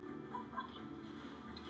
Á því er mikill munur.